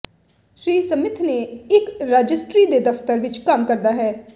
ਸ੍ਰੀ Smith ਨੇ ਇਕ registry ਦੇ ਦਫ਼ਤਰ ਵਿੱਚ ਕੰਮ ਕਰਦਾ ਹੈ